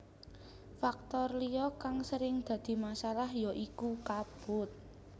Faktor liya kang sering dadi masalah ya iku kabut